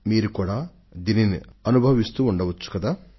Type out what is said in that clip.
మీరు కూడా ఈ అనుభూతిని పొందే ఉంటారు